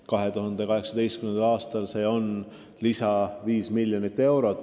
2018. aastal on lisasumma 5 miljonit eurot.